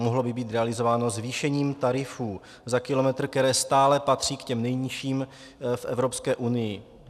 Mohlo by být realizováno zvýšením tarifů za kilometr, které stále patří k těm nejnižším v Evropské unii.